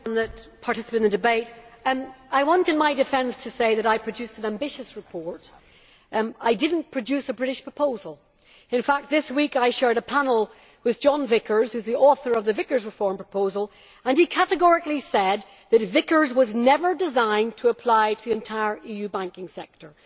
Mr President, thanks to everyone that participated in the debate. I want in my defence to say that I produced an ambitious report. I did not produce a British proposal. In fact this week I shared a panel with John Vickers, who is the author of the Vickers reform proposal, and he categorically said that Vickers was never designed to apply to the entire EU banking sector.